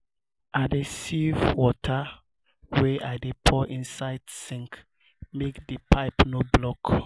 i dey sieve water wey i dey pour inside sink make di pipe no block.